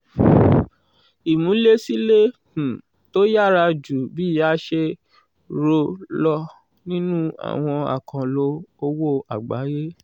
ìmúlẹ̀sílẹ̀ um tó yára ju bí a ṣe rò lọ nínú àwọn àkànlò owó àgbáyé